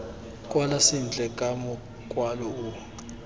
kwala sentle ka mokwalo o